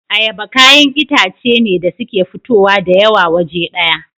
Ayaba kayan itace ne da suke fitowa dayawa waje daya